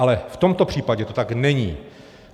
Ale v tomto případě to tak není.